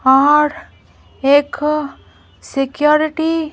और एक सिक्योरिटी --